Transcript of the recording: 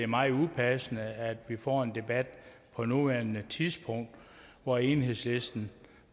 meget upassende at vi får en debat på nuværende tidspunkt og at enhedslisten